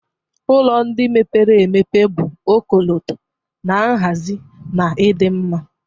Ụlọ ndị mepere emepe bụ ọkọlọtọ na nhazi na ịdị mma